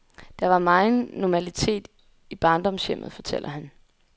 Der var megen normalitet i barndomshjemmet, fortæller han.